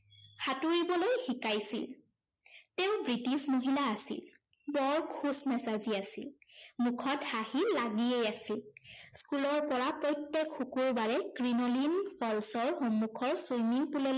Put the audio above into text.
সাঁতুৰিবলৈ শিকাইছিল। তেওঁ ব্ৰিটিছ মহিলা আছিল। বৰ খুচ মেজাজী আছিল। মুখত হাঁহি লাগিয়েই আছিল। school ৰ পৰা প্ৰত্যেক শুক্ৰবাৰে ক্ৰিনোলিন falls ৰ সন্মুখৰ swimming pool লৈ